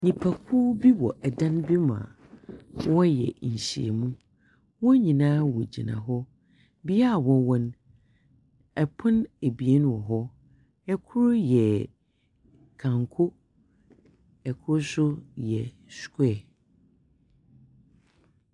Nnipakuw bi wɔ dan bi mu a wɔreyɛ nhyiamu. Wɔn nyinaa wɔgyina hɔ. Bea a wɔwɔ no, pon ebien wɔ hɔ. Kor yɛ kanko, kor nso yɛ square.